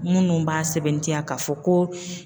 Munnu b'a sɛbɛntiya k'a fɔ ko.